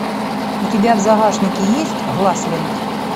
у тебя в загашнике есть гласленд